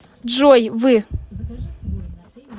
джой вы